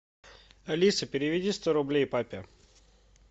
алиса переведи сто рублей папе